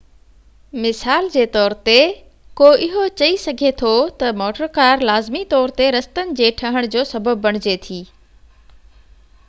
مثال جي طور تي ڪو اهو چئي سگهي ٿو ته موٽر ڪار لازمي طور تي رستن جي ٺهڻ جو سبب بڻجي ٿي